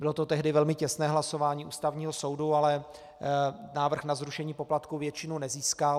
Bylo to tehdy velmi těsné hlasování Ústavního soudu, ale návrh na zrušení poplatků většinu nezískal.